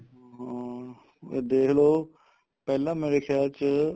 ਹਾਂ ਇਹ ਦੇਖ ਲੋ ਪਹਿਲਾਂ ਮੇਰੇ ਖਿਆਲ ਚ